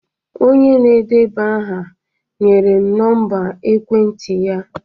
Onye na-edeba aha nyere m nọmba ekwentị ya